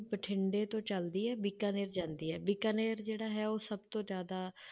ਬਠਿੰਡੇ ਤੋਂ ਚੱਲਦੀ ਹੈ ਬੀਕਾਨੇਰ ਜਾਂਦੀ ਹੈ, ਬੀਕਾਨੇਰ ਜਿਹੜਾ ਹੈ ਉਹ ਸਭ ਤੋਂ ਜ਼ਿਆਦਾ